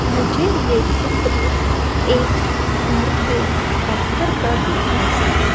मुझे ये चित्र एक घर के बाहर का दिख रहा है।